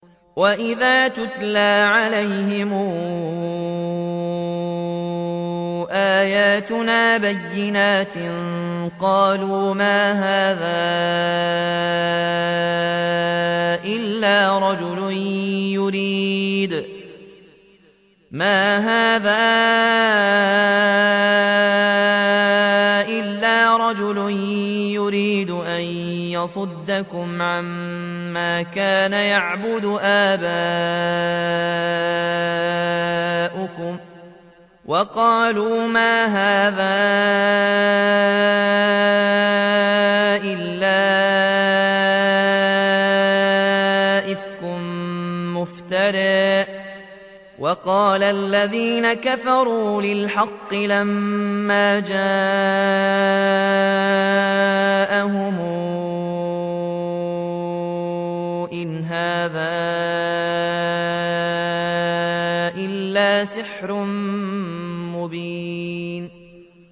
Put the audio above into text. وَإِذَا تُتْلَىٰ عَلَيْهِمْ آيَاتُنَا بَيِّنَاتٍ قَالُوا مَا هَٰذَا إِلَّا رَجُلٌ يُرِيدُ أَن يَصُدَّكُمْ عَمَّا كَانَ يَعْبُدُ آبَاؤُكُمْ وَقَالُوا مَا هَٰذَا إِلَّا إِفْكٌ مُّفْتَرًى ۚ وَقَالَ الَّذِينَ كَفَرُوا لِلْحَقِّ لَمَّا جَاءَهُمْ إِنْ هَٰذَا إِلَّا سِحْرٌ مُّبِينٌ